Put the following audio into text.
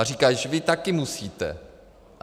A říkají: Vždyť vy také musíte.